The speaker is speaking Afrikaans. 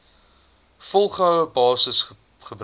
volgehoue basis gebruik